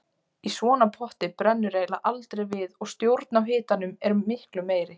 Í svona potti brennur eiginlega aldrei við og stjórn á hitanum er miklu meiri.